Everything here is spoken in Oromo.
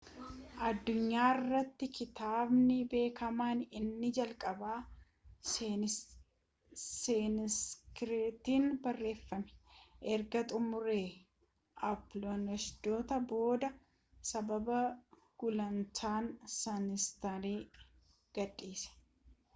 addunyaa irrattii kitaabni beekamaan inni jalqabaa saaniskiritiiin barreeffame erga xumura upanishaadotaa booda sababa gulantaan saaniskiritiin gadhiise